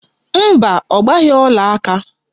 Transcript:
Mba, ọ gbaghị ọlaaka